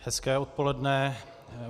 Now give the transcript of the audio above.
Hezké odpoledne.